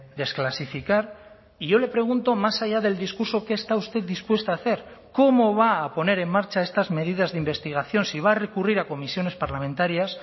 desclasificar y yo le pregunto más allá del discurso qué está usted dispuesta a hacer cómo va a poner en marcha estas medidas de investigación si va a recurrir a comisiones parlamentarias